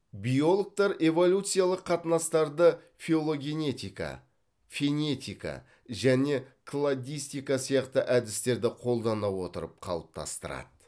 биологтар эволюциялық қатынастарды филогенетика фенетика және кладистика сияқты әдістерді қолдана отырып қалыптастырады